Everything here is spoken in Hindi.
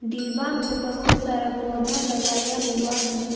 डिबा में बहुत सारा पौधा लगाया हुआ है।